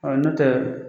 n'o tɛ